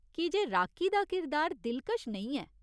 कीजे राकी दा किरदार दिलकश नेईं ऐ।